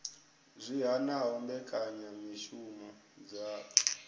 zwi hanaho mbekanyamishumo dza u